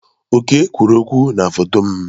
Oke kwuru okwụ na foto m.